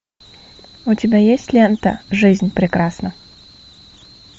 у тебя есть лента жизнь прекрасна